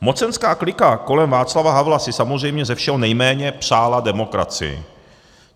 Mocenská klika kolem Václava Havla si samozřejmě ze všeho nejméně přála demokracii.